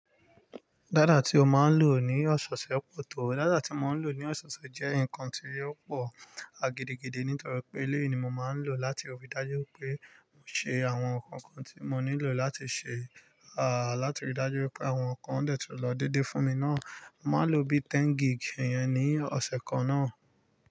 Data ti o máa ń lò ní ọ̀sẹ̀osẹ́ pọ̀ tó. Data tí mo ń lò ní ọ̀seoṣẹ́ jẹ́ nǹkan tí ò pọ̀ a gídígidi nítorí pé eléyìí ni mo máa ń lò láti ríi dájú pé mo ṣe àwọn nǹkan kan tí mo nílò láti ṣe, à láti ríi dájú pé àwọn nǹkan de tun lọ dédé fún mi náà. Mo máa lò bí 10 gig ìyẹn ní ọ̀sẹ̀ kan náà.